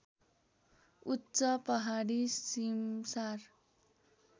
उच्च पहाडी सिमसार